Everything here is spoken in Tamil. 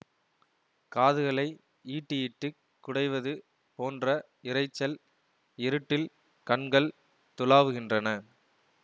காதுகளை ஈட்டியிட்டுக் குடைவது போன்ற இரைச்சல் இருட்டில் கண்கள் துழாவுகின்றன